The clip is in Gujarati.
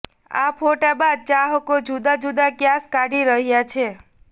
આ ફોટા બાદ ચાહકો જુદા જુદા ક્યાસ કાઢી રહ્યા છે